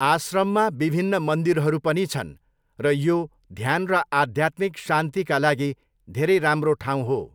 आश्रममा विभिन्न मन्दिरहरू पनि छन् र यो ध्यान र आध्यात्मिक शान्तिका लागि धेरै राम्रो ठाउँ हो।